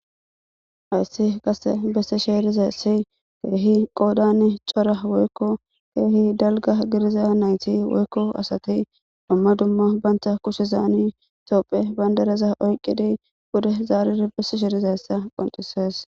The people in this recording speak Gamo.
Ayssi qasse bessi sheeriza si keehi qoodani cora woykko keehi dalga gidiza nayti woykko asati dumma dumma banta kushe zaani toophe bandareza oyqqidi bude zaariri bessi sheerizaessa qonxisees.